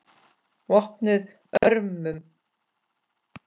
VOPNUÐ ÖRMUM